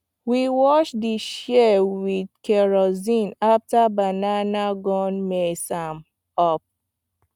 we wash di shears with kerosene after banana gum mess am up